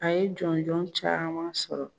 A ye jɔnjɔn caman sɔrɔ